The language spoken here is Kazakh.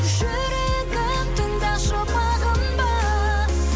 жүрегім тыңдашы бағынба